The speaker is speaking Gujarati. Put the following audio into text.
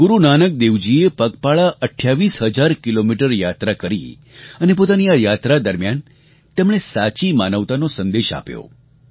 ગુરૂ નાનક દેવજીએ પગપાળા 28 હજાર કિલોમીટર યાત્રા કરી અને પોતાની આ યાત્રા દરમિયાન તેમણે સાચી માનવતાનો સંદેશો આપ્યો